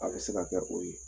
A bɛ se ka kɛ o ye